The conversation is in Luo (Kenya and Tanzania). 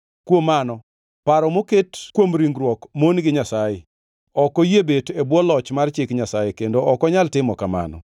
Kuom mano, paro moket kuom ringruok mon gi Nyasaye. Ok oyie bet e bwo loch mar chik Nyasaye, kendo ok onyal timo kamano.